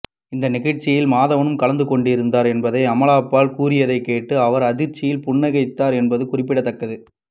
இந்த நிகழ்ச்சியில் மாதவனும் கலந்து கொண்டிருந்தார் என்பதும் அமலாபால் கூறியதை கேட்டு அவர் ஆச்சரியத்தில் புன்னகைத்தார் என்பதும் குறிப்பிடத்தக்கது